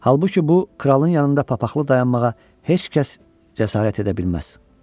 Halbuki bu kralın yanında papaqla dayanmağa heç kəs cəsarət edə bilməz.